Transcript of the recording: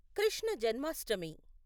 Krishna Janmashtami